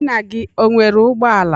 Nna gị o nwere ụgbọala?